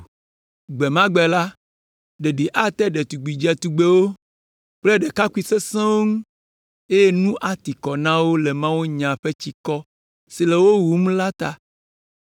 “Gbe ma gbe la, “ɖeɖi ate ɖetugbi dzetugbewo kple ɖekakpui sesẽwo ŋu, eye nu ati kɔ na wo le mawunya ƒe tsikɔ si le wo wum la ta.